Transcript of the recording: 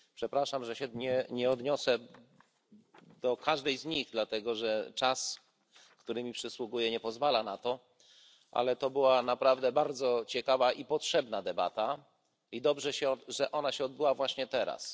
Przepraszam, że się nie odniosę do każdej z nich, dlatego że czas, który mi przysługuje, nie pozwala na to, ale to była naprawdę bardzo ciekawa i potrzebna debata i dobrze, że ona się odbyła właśnie teraz.